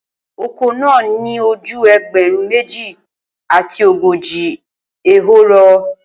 Oko naa ni o ju ẹgbẹrun meji ati ogoji ehoro